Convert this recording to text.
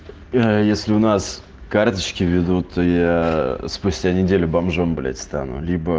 а если у нас карточки в виду то я спустя неделю бомжом блять стану либо